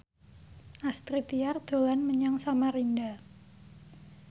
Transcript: Astrid Tiar dolan menyang Samarinda